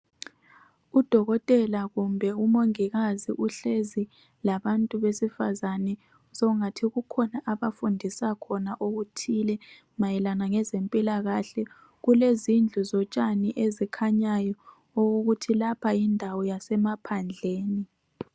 Udokotela kumbe umongikazi uhlezi labantu besifazane ngathi kukhona obafundisa khona okuthile mayelana ngezempilakahle kulezindlu zotshani ezikhanyayo okokuthi lapha yindawo yasemaphandleni.